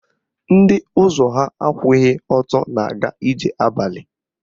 Ndị ụzọ ha akwụghị ọtọ na-aga ije abalị